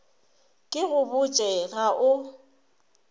ke go botše ga o